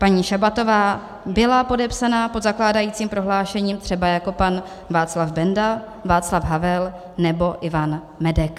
Paní Šabatová byla podepsána pod zakládajícím prohlášením třeba jako pan Václav Benda, Václav Havel nebo Ivan Medek.